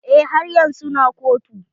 Eh, haryan su na kotu.